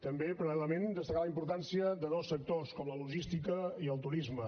també paral·lelament destacar la importància de dos sectors com la logística i el turisme